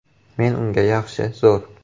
Men unga ‘Yaxshi, zo‘r.